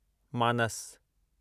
मानस